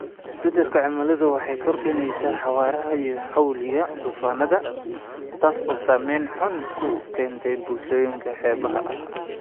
Isbeddelka cimiladu waxa ay kordhinaysaa xawaaraha iyo xawliga duufaannada, taas oo saamayn xun ku keenta bulshooyinka xeebaha ah.